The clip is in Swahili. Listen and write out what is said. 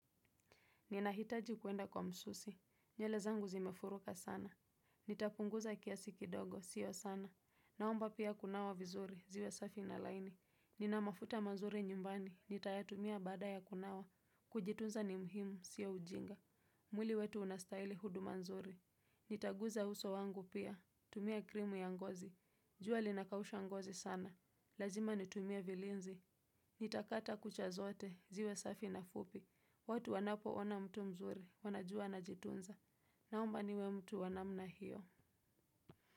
Ninahitaji kuenda kwa msusi. Nywele zangu zimefuruka sana. Nitapunguza kiasi kidogo, siyo sana. Naomba pia kunawa vizuri, ziwe safi na laini. Nina mafuta mazuri nyumbani, nitayatumia baada ya kunawa. Kujitunza ni muhimu, siyo ujinga. Mwili wetu unastahili huduma nzuri. Nitaguza uso wangu pia, tumia krimu ya ngozi. Jua linakausha ngozi sana. Lazima nitumie vilinzi. Nitakata kucha zote ziwe safi na fupi. Watu wanapoona mtu mzuri wanajua anajitunza. Naomba niwe mtu wa namna hiyo.